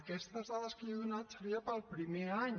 aquestes dades que jo he donat serien per al primer any